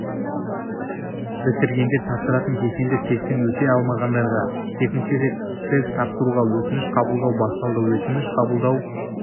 бітіргендер тапсыратын кешенді тесттен өте алмағандарға екінші рет тест тапсыруға өтініш қабылдау басталды өтініш қабылдау